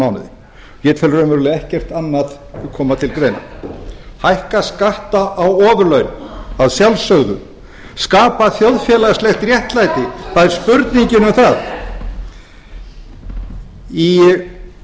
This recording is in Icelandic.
mánuði ég tel raunverulega ekkert annað koma til greina hækka skatta á ofurlaun að sjálfsögðu skapa þjóðfélagslegt réttlæti það er spurningin um það ég